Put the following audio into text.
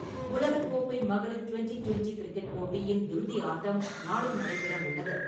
உலகக் கோப்பை மகளிர் டுவெண்டி-டுவெண்டி கிரிக்கெட் போட்டியின் இறுதி ஆட்டம் நாளை நடைபெற உள்ளது.